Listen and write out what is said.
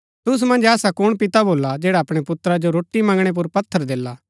तुसु मन्ज ऐसा कुण पिता भोल्ला जैडा अपणै पुत्रा जो रोटी मंगणै पुर पत्थर देला